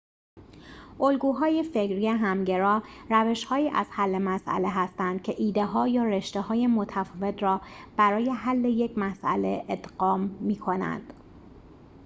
الگوهای فکری همگرا روش‌هایی از حل مسئله هستند که ایده‌ها یا رشته‌های متفاوت را برای حل یک مسئله ادغام می‌کنند